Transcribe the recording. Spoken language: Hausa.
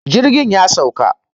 jirgi ya sauka